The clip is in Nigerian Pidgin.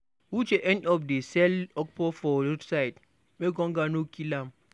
Uche end up to dey sell okpa for roadside make hunger no kill her.